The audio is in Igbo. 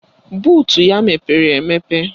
Buutu ya mepere emepe